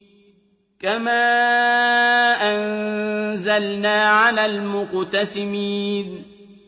كَمَا أَنزَلْنَا عَلَى الْمُقْتَسِمِينَ